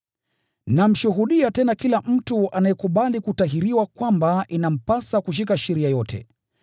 Namshuhudia tena kila mtu anayekubali kutahiriwa kwamba inampasa kushika sheria yote.